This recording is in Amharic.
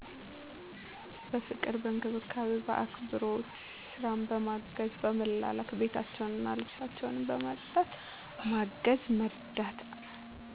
በፍቅር፣ በእንክብካቤ፣ በአክብሮት፣ ስራ በማገዝ፣ በመላላክ፣ ቤታቸዉን እና ልብሳቸዉን በማፅዳት ማገዝ መርዳት።